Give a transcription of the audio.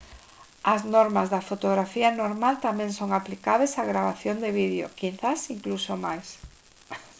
as normas da fotografía normal tamén son aplicables á gravación de vídeo quizais incluso máis